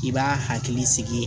I b'a hakili sigi